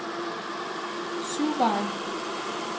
Syvveje